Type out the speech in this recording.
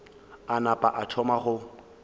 a napa a thoma go